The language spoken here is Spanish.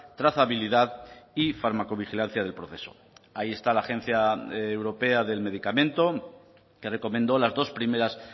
trazabilidad y fármaco vigilancia del proceso ahí está la agencia europea del medicamento que recomendó las dos primeras